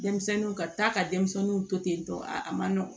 Denmisɛnninw ka taa ka denmisɛnninw to ten tɔ a man nɔgɔn